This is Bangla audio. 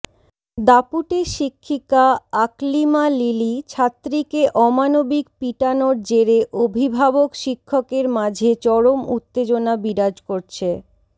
দাপুটে শিক্ষিকা আকলিমা লিলি ছাত্রিকে অমানবিক পিটানোর জেরে অভিভাবক শিক্ষকের মাঝে চরম উত্তেজনা বিরাজ করছে